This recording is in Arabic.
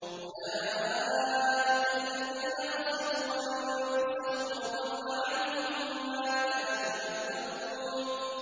أُولَٰئِكَ الَّذِينَ خَسِرُوا أَنفُسَهُمْ وَضَلَّ عَنْهُم مَّا كَانُوا يَفْتَرُونَ